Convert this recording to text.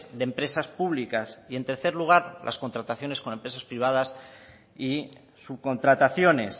de empresas públicas y en tercer lugar las contrataciones con empresas privadas y subcontrataciones